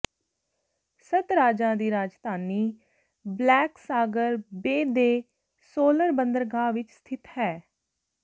ਸੱਤ ਰਾਜਾਂ ਦੀ ਰਾਜਧਾਨੀ ਬਲੈਕ ਸਾਗਰ ਬੇ ਦੇ ਸੋਲਰ ਬੰਦਰਗਾਹ ਵਿੱਚ ਸਥਿਤ ਹੈ